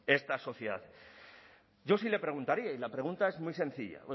esta sociedad yo sí le preguntaría y la pregunta es muy sencilla